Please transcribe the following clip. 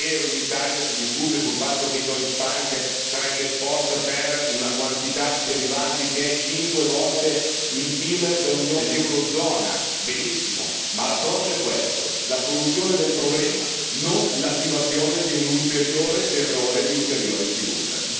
È vero, in Italia si discute del fatto che Deutsche Bank sarebbe esposta per una quantità di derivati che è cinque volte il PIL dell'eurozona, benissimo, ma l'approccio è questo la soluzione del problema, non l'attivazione di un ulteriore terrore, di ulteriore sfiducia.